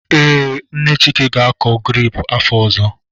Ee, Nne Chika ga-akọ grepụ afọ ọzọ.